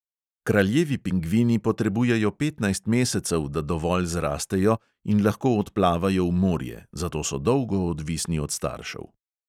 Kraljevi pingvini potrebujejo petnajst mesecev, da dovolj zrastejo in lahko odplavajo v morje, zato so dolgo odvisni od staršev.